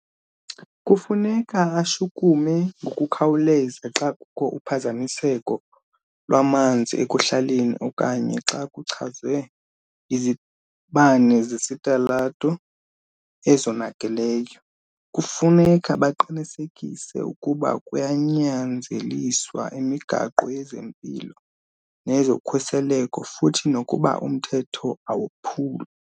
Kufuneka ashukume ngokukhawuleza xa kukho uphazamiseko lwamanzi ekuhlaleni okanye xa kuchazwe izibane zesitalato ezonakeleyo. Kufuneka baqinisekise ukuba kunyanzeliswa imigaqo yezempilo nezokhuseleko futhi nokuba umthetho awophulwa.